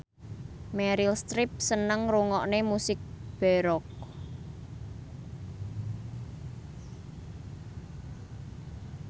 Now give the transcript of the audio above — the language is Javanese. Meryl Streep seneng ngrungokne musik baroque